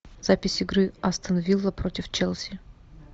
запись игры астон вилла против челси